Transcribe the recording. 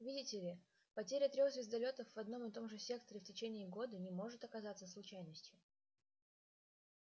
видите ли потеря трёх звездолётов в одном и том же секторе в течение года не может оказаться случайностью